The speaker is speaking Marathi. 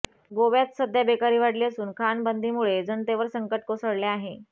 गोव्यात सध्या बेकारी वाढली असून खाणबंदीमुळे जनतेवर संकट कोसळले आहे